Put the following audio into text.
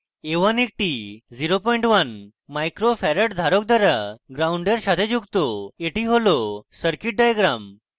a1 একটি 01uf 01 micro farad ধারক দ্বারা gnd a1 সাথে যুক্ত এটি হল circuit diagram